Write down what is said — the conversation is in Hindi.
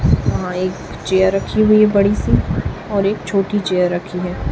वहां एक चेयर रखी हुई बड़ी सी और एक छोटी चेयर रखी है।